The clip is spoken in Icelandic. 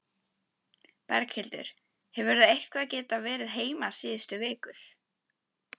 Berghildur: Hefurðu eitthvað geta verið heima síðustu vikur?